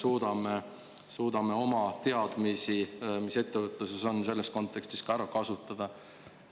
Kas me suudame oma teadmisi, mis ettevõtluses on, selles kontekstis ka ära kasutada?